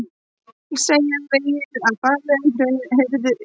Segja vegið að faglegum heiðri kennara